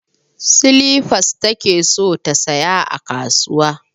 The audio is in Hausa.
Silifas take so ta saya a kasuwa